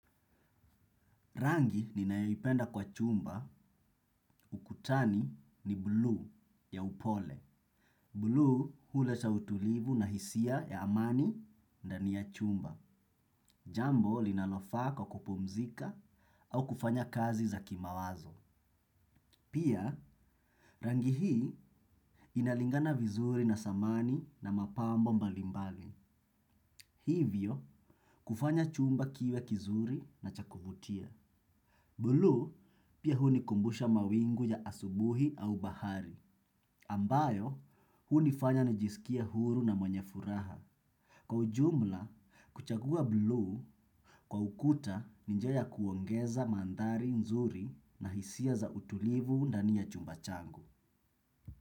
Rangi ninayo ipenda kwa chumba ukutani ni blue ya upole. Blue hula cha utulivu na hisia ya amani ndani ya chumba. Jambo linalofaa kwa kupumzika au kufanya kazi za kimawazo. Pia, rangi hii inalingana vizuri na samahani na mapambo mbalimbali. Hivyo, kufanya chumba kiwe kizuri na cha kuvutia. Blue pia hunikumbusha mawingu ya asubuhi au bahari, ambayo hunifanya nijisikia huru na mwenye furaha. Kwa ujumla, kuchagua blue kwa ukuta ni njia ya kupongeza manthari nzuri na hisia za utulivu ndani ya chumba changu.